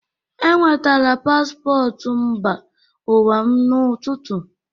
Enwetara paspọtụ mba ụwa m n'ụtụtụ a.